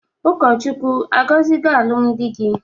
Ụkọchukwu agozigo alụm di gi?